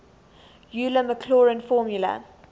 euler maclaurin formula